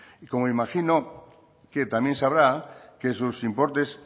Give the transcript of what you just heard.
y como imagino que también sabrá que sus importes